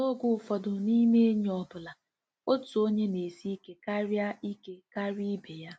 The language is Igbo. “ N’oge ụfọdụ n’ime enyi ọ bụla, otu onye na-esi ike karịa ike karịa ibe ya.